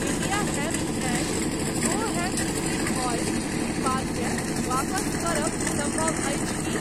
India Hemp and Co hemp seed oil उत्पादकेँ वापस करब सम्भव अछि की ?